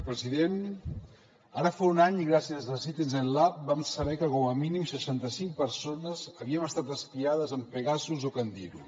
president ara fa un any i gràcies a citizen lab vam saber que com a mínim seixanta cinc persones havien estat espiades amb pegasus o candiru